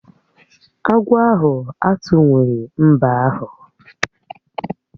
Agwọ ahụ atuwughi mbe ahụ